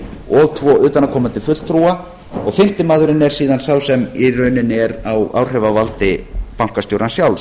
og tvo utanaðkomandi fulltrúa og fimmti maðurinn er síðan sá sem í rauninni er á áhrifavaldi bankastjórans sjálfs